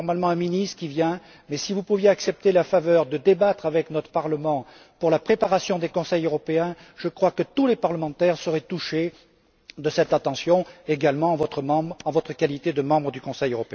C'est normalement un ministre qui vient, mais si pouviez nous accorder la faveur de débattre avec notre Parlement pour la préparation des Conseils européens, je crois que tous les parlementaires seraient touchés de cette attention, également, en votre qualité de membre du Conseil européen.